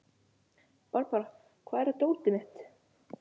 Barbára, hvar er dótið mitt?